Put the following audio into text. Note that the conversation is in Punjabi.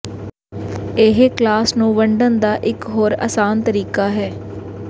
ਇਹ ਕਲਾਸ ਨੂੰ ਵੰਡਣ ਦਾ ਇੱਕ ਹੋਰ ਅਸਾਨ ਤਰੀਕਾ ਹੈ